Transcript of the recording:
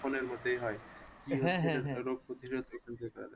Phone এর মধ্যেই হয় রোগ পতিরোধ ওষুধ খেতে হবে।